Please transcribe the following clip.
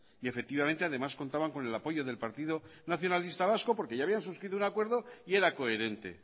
y efectivamente además contaban con el apoyo del partido nacionalista vasco porque ya habían suscrito un acuerdo y era coherente